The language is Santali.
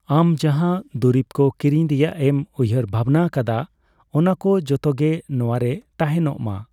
ᱟᱢ ᱡᱟᱦᱟ ᱫᱩᱨᱤᱵ ᱠᱚ ᱠᱮᱨᱤᱧ ᱨᱮᱭᱟᱜ ᱮᱢ ᱩᱭᱦᱟᱹᱨ ᱵᱷᱟᱵᱱᱟ ᱟᱠᱟᱫᱟ, ᱚᱱᱟ ᱠᱚ ᱡᱚᱛᱚ ᱜᱮ ᱱᱚᱣᱟᱨᱮ ᱛᱟᱦᱮᱱᱚᱜᱢᱟ ᱾